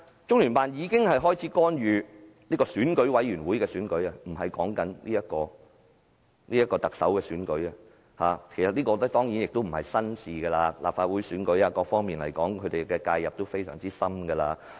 中聯辦一開始便干預選舉委員會的選舉，而不是特首的選舉，但這當然並非甚麼新鮮事，無論是立法會選舉或其他選舉，他們的介入都非常深入。